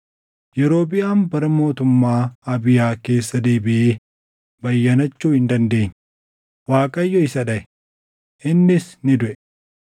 Yerobiʼaam bara mootummaa Abiyaa keessa deebiʼee bayyanachuu hin dandeenye. Waaqayyo isa dhaʼe; innis ni duʼe.